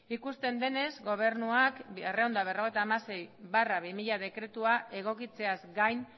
ikusten denez gobernuak berrehun eta berrogeita hamasei barra bi mila dekretua egokitzeaz gain